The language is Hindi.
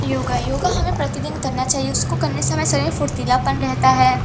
योगा योगा हमें प्रतिदिन करना चाहिए। उसको करने से हमारा शरीर फुर्तीलापन रहता है।